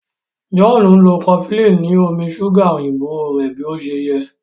John nlọ cofflin ni omí ṣuga òyìnbó rẹ bí ọṣẹ yé.